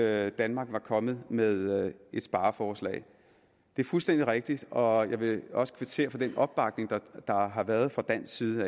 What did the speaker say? at danmark var kommet med et spareforslag det er fuldstændig rigtigt og jeg vil også kvittere for den opbakning der har har været fra dansk side